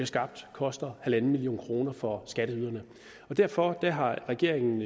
skabt koster en million kroner for skatteyderne derfor har regeringen